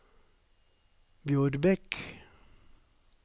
Bjorbekk